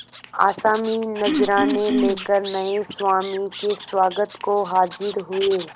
आसामी नजराने लेकर नये स्वामी के स्वागत को हाजिर हुए